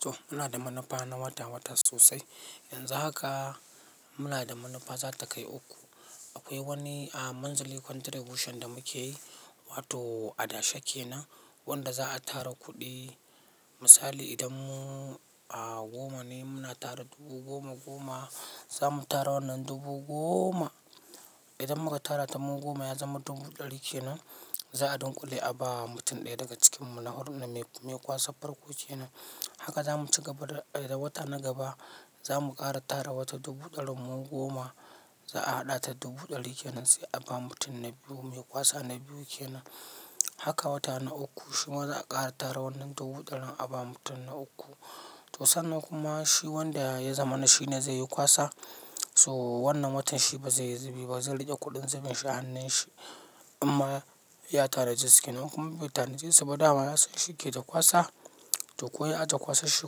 To muna da manufa na wata-wata sosai. Yanzu haka muna da manufa za ta kai uku. Akwai wani, aa, manzali contribution da muke yi, wato adashe kenan wanda za a tara kuɗi. Misali idan mu, aa, goma ne muna tara dubu goma goma, za mu tara wannan dubu goma. Idan muka tara ta mun goma ya zama dubu ɗari kenan, za a ɗinkule a ba mutum ɗaya daga cikinmu na horon na mai, mai kwasan farko kenan. Haka za mu ci gaba da, idan wata na gaba za mu ƙara tara wata dubu ɗarin mun goma, za a haɗa ta dubu ɗari kenan sai a ba mutum na biyu mai kwasa na biyu kenan. Haka wata na uku shima za a kara tara wannan dubu dari a bama mutum na uku to sannan kuma shi wanda ya zama na shi ne zai yi ƙwasa. So wannan watan shi ba zai yi zubi ba, zai riƙe kuɗin zuben shi a hannun shi. Amma ya tara jikin, kuma mutanen zai saba dama ya san shi yake ta kwasa. To ko ya ta kwasar shi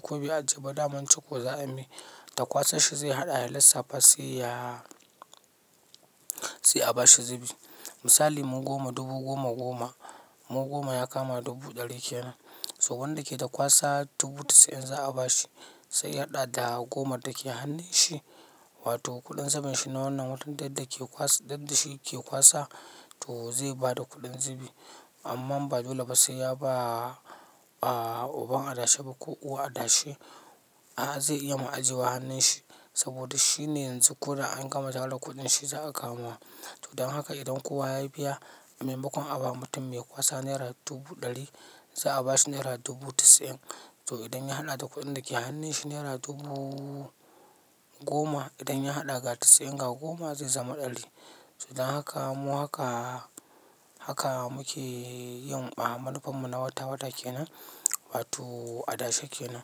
ko bai ajiye badamanci ko za'a yi mai. Ta kwasa shi zai haɗa ya lissafa sai yaa, sai a ba shi zubi. Misali mun goma dubu goma goma, mun goma ya kama dubu ɗari kenan. To wanda yake ta kwasa dubu sittin za a ba shi. Sa ya hada da goma take hannun shi wato kudin saman shi na wannan watan duk da shinke kwasa to zai bada kudin zubi amma ba dole ba sai ya ba uban a dashe ba ko uwar a dashe a zai iya ya aje a hannun shi saboda shi ne yanzu kuda an gama tara kuɗin shi za a kawo. To don haka idan kowa ya biya, a maimakon a ba mutum mai kwasa naira dubu ɗari, za a ba shi naira dubu tisi in. To idan ya haɗa da kuɗin da ke hannun shi naira dubuuu goma, idan ya haɗa ga tisi in ga goma zai zama ɗari. To don haka mu haka, haka muke yin, aa, manufar mu na wata-wata kenan. Wato adashe kenan.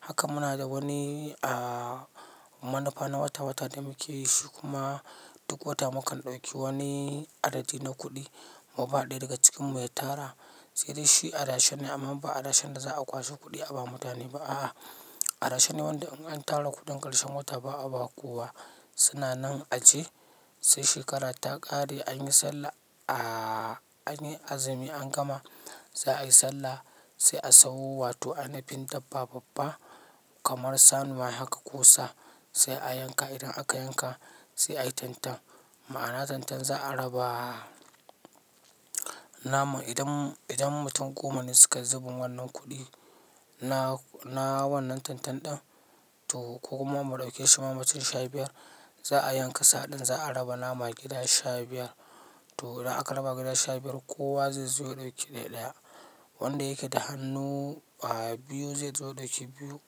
Haka muna da wani, aa, manufa na wata-wata da muke yi shi kuma duk wata mu kan ɗauki wani adadi na kuɗi mu ba ɗaya daga cikinmu ya tara. Sai dai shi adashe ne amma ba adashen da za a kwaso kuɗi a ba mutane ba a'a. A dashe wanda in an tara kudin karshen wata ba'a bama kowa. Sananan aji sai shekarar ta ƙare anyi sallah, aa, anyi azumi an gama, za ayi sallah sai a sayo wato ana fin dabba babba kamar sani mai haka kusa sai a yanka. Idan aka yanka sai ayi tentan. Ma'ana tentan za a raba. Naman idan, idan mutum goma ne suka zubin wannan kuɗi na, na wannan tentan ɗin to ko kuma mu ɗauke shi ma mutum sha biyar, za a yanka sa'a ɗin za a raba nama gida sha biyar. Toh idan aka raba gida shari'a kowa zai zo ya dauki dai daya wanda yake da hannu, aa, biyu zai zo da shi biyu.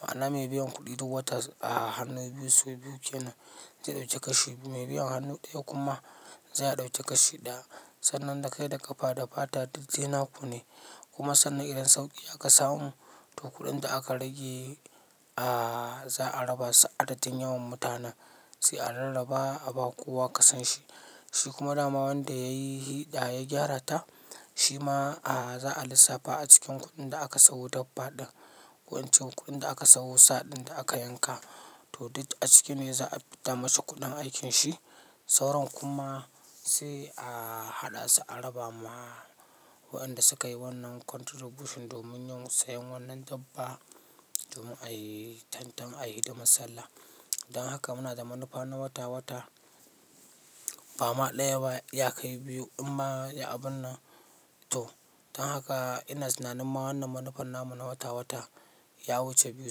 Ma'ana mai biyan kuɗi duk wata, aa, hannu biyu su biyu kenan zai ɗauki kashi biyu. Mai biyan hannu ɗaya kuma zai ɗauki kashi ɗaya. Sannan dai kai da ƙafa da fata duk daina kunne. Kuma sannan idan sauki aka samu toh kudin da aka ragea zaa raba su adadin sauran mutanen sai a rarraba a ba kowa ƙasan shi. Shi kuma dama wanda ya yi hiɗaya ya gyarata, shi ma, aa, za a lissafa a cikin kuɗin da aka sayo dabbba ɗin. Wancan kuɗin da aka sayo sa'a ɗin da aka yanka to duk da a ciki ne za a fita mashi kuɗin aikin shi. Sauran kuma sai a haɗa su a raba ma waɗanda suka yi wannan contribution domin yin sayen wannan dabbba domin ayi tentan ayi hidimar sallah. Don haka muna da manufa na wata-wata. Bama ɗaya ba ya kai biyu amma ya abun na. To don haka ina tsinanin ma wannan manufar namun na wata-wata ya wuce biyu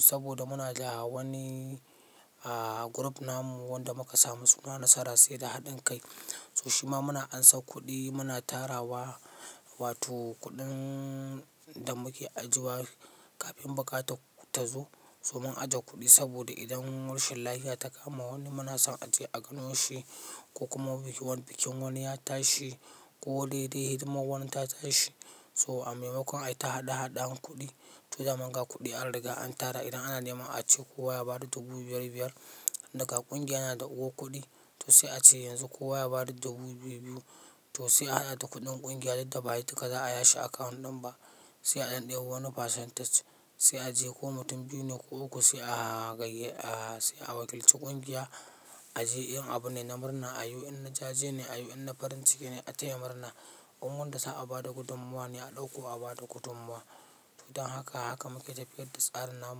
saboda muna da wani, aa, group namun wanda muka samu suna Nasara sai da haɗin kai. Toh shima muna ansan kudi muna tarawa wato kudin da muke ajiyewa kafin bukata tazo. So mun ajiye kuɗi saboda idan mulshin lafiya ta kama wani muna son a je a gano shi ko kuma bikin wani ya tashi ko dai dai hidimar wani ta tashi. To a maimakon ai ta haɗe haɗe an kuɗi. To da muka ga kuɗi an riga an tara idan ana neman a ce kowa ya ba da dubu biyar biyar daga ƙungiya na da uku kuɗi, to sai a ce yanzu kowa ya ba da dubu biyu biyu. Tih sai a hada da kudin kungiya duk da ba duka za'a yaushe account din ba sai a ɗanɗe bo wani percentage sai a je ko mutum biyu ne ko uku sai a ganye, aa, sai a wakilci ƙungiya a je yin abu ne na murna a yiwu in na jaje ne a yiwu in na farin ciki ne ataya murna. Unguwar da za a ba da gudummawa ne a ɗauko a ba da gudummawa. To don haka haka muke tafiyar da tsarin namun.